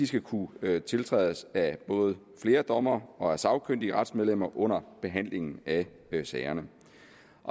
skal kunne tiltrædes af både flere dommere og af sagkyndige retsmedlemmer under behandlingen af sagerne